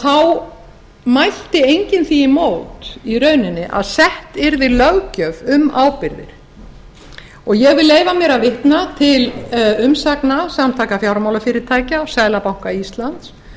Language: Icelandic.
þá mælti enginn því í mót í rauninni að sett yrði löggjöf um ábyrgðir ég vil leyfa mér að vitna til umsagna samtaka fjármálafyrirtækja og seðlabanka íslands